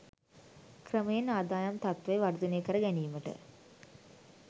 ක්‍රමයෙන් ආදායම් තත්ත්වය වර්ධනය කර ගැනීමට